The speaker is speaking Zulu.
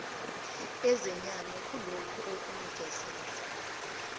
ezeyame kulokhu okunikezelwe